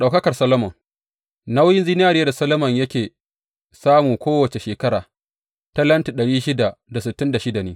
Ɗaukakar Solomon Nauyin zinariya da Solomon yake samun kowace shekara, talenti dari shida da sittin da shida ne.